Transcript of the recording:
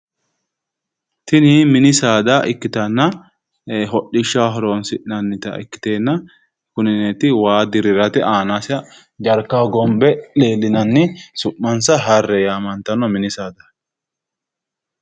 Tini mini saadati hodhishshaho horonsi'nannite kuneti waa hogombe hee'neenni su'mansa harre yamantanno